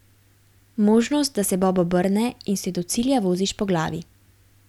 Možnost, da se bob obrne in se do cilja voziš po glavi.